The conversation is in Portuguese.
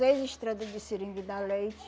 Seis estradas de seringa e dá leite.